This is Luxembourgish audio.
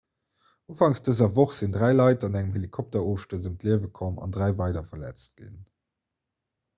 ufangs dëser woch sinn dräi leit an engem helikopterofstuerz ëm d'liewe komm an dräi weider verletzt ginn